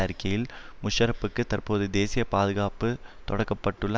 அறிக்கையில் முஷராப்புக்கு தற்போது தேசிய பாதுகாப்பு தொடுக்க பட்டுள்ள